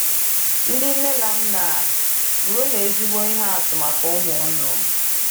Ndị Nne na Nna — Bụrụnụ Ezigbo Ihe Atụ Maka Ụmụ Unu